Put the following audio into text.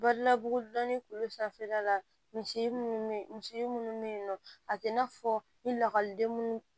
Bari labugu dɔnni k'olu sanfɛla la misi munnu be yen misi munnu be yen nɔ a te na fɔ ni lakɔliden munnu